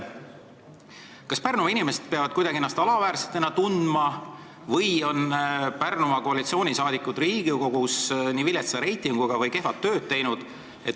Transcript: Kas Pärnumaa inimesed peavad ennast kuidagi alaväärsena tundma või on Pärnumaa koalitsioonisaadikud Riigikogus nii viletsa reitinguga või kehva tööd teinud?